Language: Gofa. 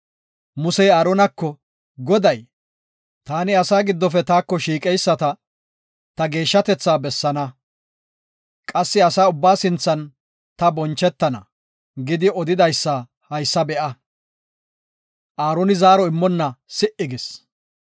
Musey Aaronako, Goday, “Taani asaa giddofe taako shiiqeyisata, ta geeshshatetha bessaana. Qassi asa ubbaa sinthan ta bonchetana” gidi odidaysa haysa be7a. Aaroni zaaro immonna si77i gis.